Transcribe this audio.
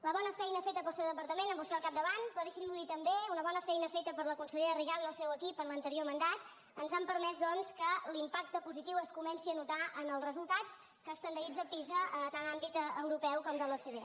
la bona feina feta pel seu departament amb vostè al capdavant però deixi m’ho dir també una bona feina feta per la consellera rigau i el seu equip en l’anterior mandat ens han permès doncs que l’impacte positiu es comenci a notar en els resultats que estandaritza pisa tant en àmbit europeu com de l’ocde